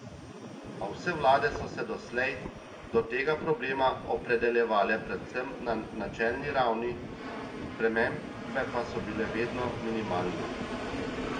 A vse vlade so se doslej do tega problema opredeljevale predvsem na načelni ravni, spremembe pa so bile vedno minimalne.